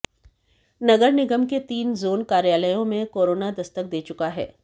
नगर निगम के तीन जोन कार्यालयों में कोरोना दस्तक दे चुका है